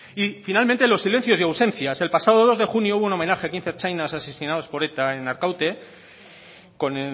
y finalmente los silencios y ausencias el pasado dos de junio hubo un homenaje a quince ertzainas asesinados por eta en arkaute con